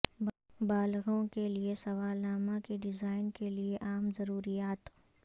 بالغوں کے لئے سوالنامہ کے ڈیزائن کے لئے عام ضروریات